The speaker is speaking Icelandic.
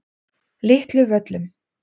Litlu Völlum